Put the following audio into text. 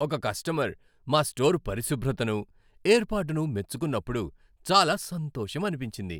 ఒక కస్టమర్ మా స్టోర్ పరిశుభ్రతను, ఏర్పాటును మెచ్చుకున్నప్పుడు చాలా సంతోషమనిపించింది.